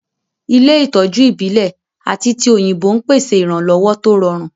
Ilé ìtọ́jú ìbílẹ̀ àti ti òyìnbó ń pèsè ìrànlọ́wọ́ tó rọrùn